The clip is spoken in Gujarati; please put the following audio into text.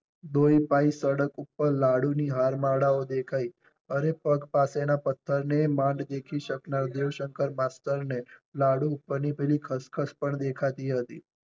દોઈપાઈ સડક ઉપર લાડુ ની હારમાળાઓ દેખાઈ. અરે પગ પાસે ના પત્થર ને માંડ દેખી શકનાર દેવ શંકર માસ્ટર ને લાડુ ઉપર ની પેલી ખસખસ પણ દેખાતી હતી.